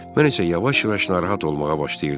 Mən isə yavaş-yavaş narahat olmağa başlayırdım.